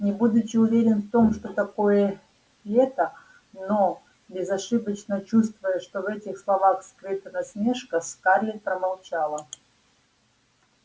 не будучи уверен в том что такое лето но безошибочно чувствуя что в этих словах скрыта насмешка скарлетт промолчала